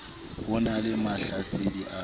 ho na le mahlasedi a